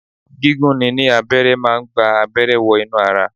Gigun ni ni abẹ́rẹ́ máa ń gba abẹ́rẹ́ wọ inú ara